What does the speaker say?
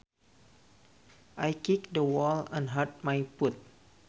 I kicked the wall and hurt my foot